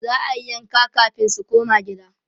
za'ayi yanka kamin su koma gidan